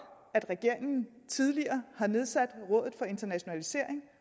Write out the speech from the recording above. at regeringen tidligere har nedsat rådet for internationalisering